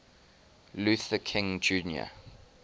luther king jr